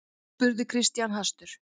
spurði Christian hastur.